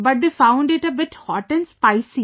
But they found it a bit hot & spicy